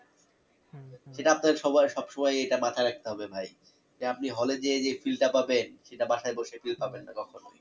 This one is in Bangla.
সেটা আপনার সবার সবসময় এটা মাথায় রাখতে হবে ভাই যে আপনি hall এ যেয়ে যে feel টা পাবেন সেটা বাসায় বসে feel পাবেন না কখনোই